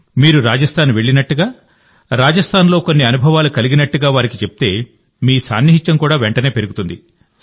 మీరు రాజస్థాన్ వెళ్ళినట్టుగా రాజస్థాన్ లో కొన్ని అనుభవాలు కలిగినట్టుగా వారికి చెప్తే మీ సాన్నిహిత్యం వెంటనే పెరుగుతుంది